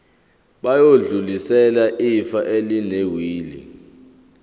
bayodlulisela ifa elinewili